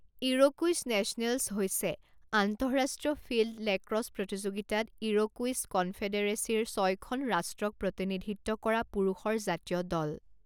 Iroquois Nationals হৈছে আন্তঃৰাষ্ট্ৰীয় field lacrosse প্ৰতিযোগিতাত ইৰ'কুইছ কনফেডেৰেচিৰ ছয়খন ৰাষ্ট্ৰক প্ৰতিনিধিত্ব কৰা পুৰুষৰ জাতীয় দল।